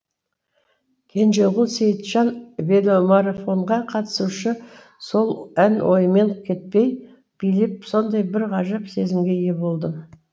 кенжеғұл сейітжан веломарафонға қатысушы сол ән ойымнан кетпей билеп сондай бір ғажап сезімге ие болдым